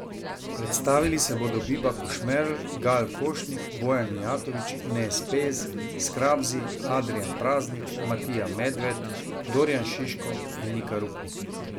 Predstavili se bodo Biba Košmerl, Gal Košnik, Bojan Mijatović, Nez Pez, Skrabzi, Adrijan Praznik, Matija Medved, Dorijan Šiško in Nika Rupnik.